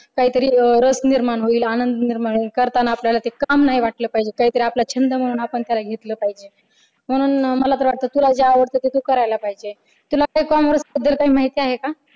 काहीतरी रस निर्माण होईल आनंद निर्माण होईल करताना आपल्याला ते काम नाही वाटलं पाहिजे आपला छंद म्हणून आपण ते घेतलं पाहिजे म्हणून मला जे वाटतं की तुला जे आवडतं ते तू करायला पाहिजे तुला काय commerce बद्दल काही माहिती आहे का?